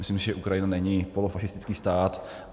Myslím, že Ukrajina není polofašistický stát.